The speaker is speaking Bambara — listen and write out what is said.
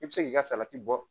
I bɛ se k'i ka salati bɔ